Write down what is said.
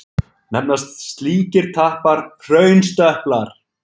Nefnast slíkir tappar hraunstöplar.